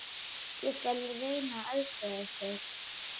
Ég skal reyna að aðstoða ykkur.